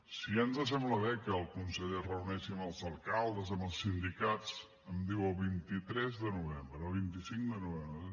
si ja ens sembla bé que el conseller es reuneixi amb els alcaldes amb els sindicats em diu el vint tres de novembre el vint cinc de novembre